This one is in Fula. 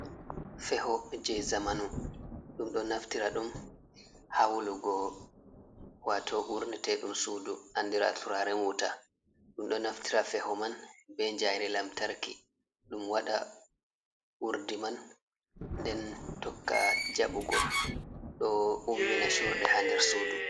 Feho je zamanu, ɗum ɗo naftira ɗum ha wulugo wato urne te ɗum sudu andira turaren wuta, ɗum ɗo naftira feho man be njayri lantarki ɗum waɗa urɗi man nɗe seto tokka jabugo do ummina surde ha nder sudu d